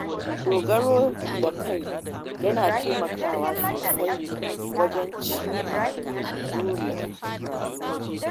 Dogaro da kai yana taimakawa sosai wajen cimma burin rayuwa.